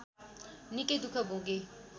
निकै दुःख भोगेँ